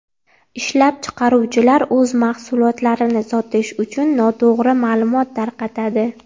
Ishlab chiqaruvchilar o‘z mahsulotlarini sotish uchun noto‘g‘ri ma’lumot tarqatadi.